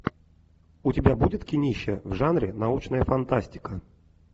у тебя будет кинище в жанре научная фантастика